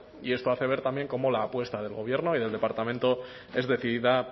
y esto hace ver también cómo la apuesta del gobierno y del departamento es decidida